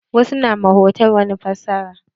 Wasu na ma hotal wani fassara.